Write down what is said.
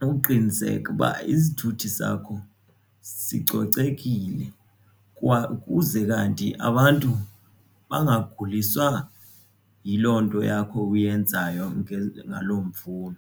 uqiniseke uba isithuthi sakho sicocekile kwa ukuze kanti abantu bangaguliswa yiloo nto yakho uyenzayo ngalo mvuno.